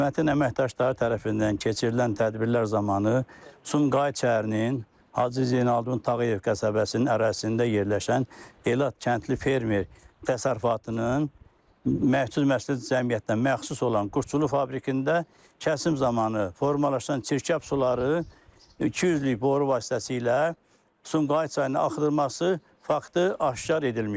Xidmətin əməkdaşları tərəfindən keçirilən tədbirlər zamanı Sumqayıt şəhərinin Hacı Zeynalabdin Tağıyev qəsəbəsinin ərazisində yerləşən Elad Kəndli Fermer Təsərrüfatının məhsul müəssisə cəmiyyətinə məxsus olan quşçuluq fabrikində kəsim zamanı formalaşan çirkab suları 200-lük boru vasitəsilə Sumqayıt çayına axıdılması faktı aşkar edilmişdir.